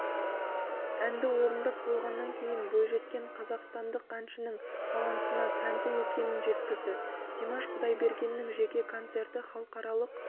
әнді орындап болғаннан кейін бойжеткен қазақстандық әншінің талантына тәнті екенін жеткізді димаш құдайбергеннің жеке концерті халықаралық